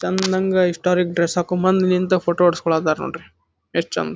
ತನ್ನಂಗ್ historic dress ಹಾಕೊಂಡ್ ಬಂದ್ ನಿಂತ್ ಫೋಟೋ ಹೊಡ್ಸಕೊಳ್ಳಕಾತರ ನೋಡ್ರಿ ಎಷ್ಟ್ ಚಂದ್--